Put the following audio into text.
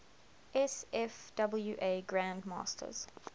sfwa grand masters